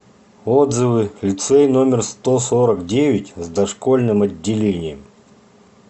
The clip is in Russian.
отзывы лицей номер сто сорок девять с дошкольным отделением